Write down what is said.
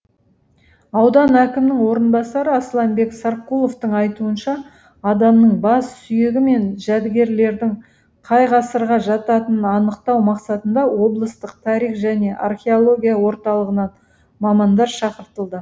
аудан әкімінің орынбасары асланбек сарқұловтың айтуынша адамның бас сүйегі мен жәдігерлердің қай ғасырға жататынын анықтау мақсатында облыстық тарих және археология орталығынан мамандар шақыртылды